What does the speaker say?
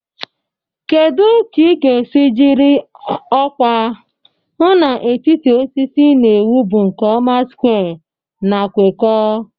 Kedu ka ị ga-esi jiri ọkwa hụ na etiti osisi ị na-ewu bụ nke ọma square na kwekọọ?